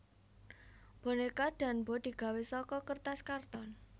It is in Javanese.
Bonéka Danbo digawé saka kertas karton